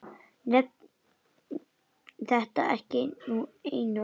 Nefndi þetta ekki einu orði.